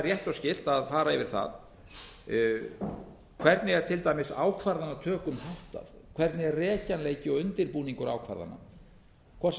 og skylt að fara yfir það hvernig er til dæmis ákvarðanatökum háttað hvernig er rekjanleiki og undirbúningur ákvarðana hvort sem það